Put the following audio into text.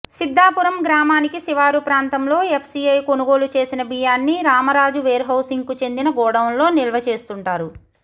సిద్ధాపురం గ్రామానికి శివారు ప్రాంతంలో ఎఫ్సీఐ కొనుగోలు చేసిన బియ్యాన్ని రామరాజు వేర్హౌసింగ్కు చెందిన గొడౌన్లో నిల్వ చేస్తుంటారు